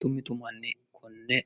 tummitu manni kunne